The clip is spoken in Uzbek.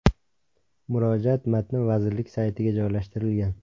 Murojaat matni vazirlik saytiga joylashtirilgan .